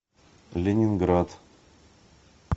ленинград